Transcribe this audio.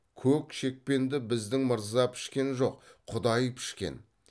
көк шекпенді біздің мырза пішкен жоқ құдай пішкен